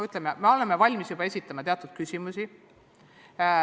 Ütleme nii, et me oleme nende puhul valmis juba teatud küsimusi esitama.